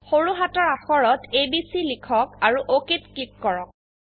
সৰু হাতৰ অাক্ষৰত এবিচি লিখক আৰু OKত ক্লিক কৰক